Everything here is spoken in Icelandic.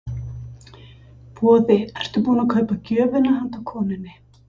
Boði: Ertu búinn að kaupa gjöfina handa konunni?